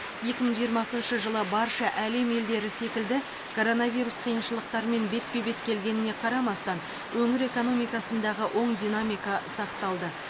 екі мың жиырмасыншы жылы барша әлем елдері секілді коронавирус қиыншылықтарымен бетпе бет келгеніне қарамастан өңір экономикасындағы оң динамика сақталды